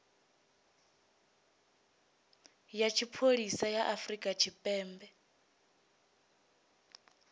ya tshipholisa ya afrika tshipembe